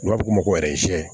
N'a bɛ f'o ma ko